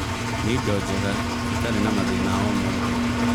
nĩ ĩndo njega cĩtari na mathĩna o mothe